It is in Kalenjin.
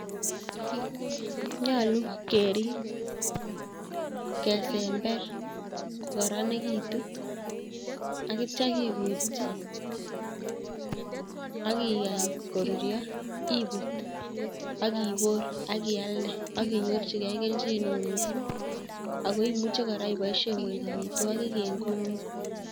Nyolu kerib, kesember kokaranikitu akitcha kikutchi akiyai koruryo,, ibut, akibor akialde akinyorchigei kelchineo miising' akoimuchi kora iboisie koek amitwogik ing' kot ng'ung'